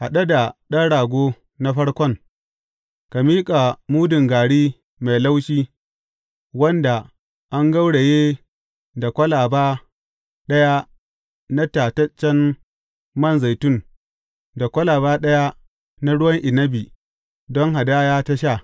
Haɗe da ɗan rago na farkon, ka miƙa mudun gari mai laushi wanda an gauraye da kwalaba ɗaya na tataccen mai zaitun, da kwalaba ɗaya na ruwan inabi don hadaya ta sha.